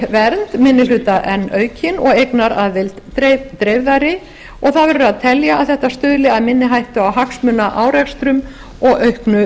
verði vernd minni hluta enn aukin og eignaraðild dreifðari og það verður að telja að þetta stuðli að minni hættu á hagsmunaárekstrum og auknu